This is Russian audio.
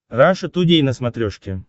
раша тудей на смотрешке